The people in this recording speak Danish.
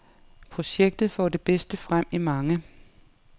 Projektet får det bedste frem i mange.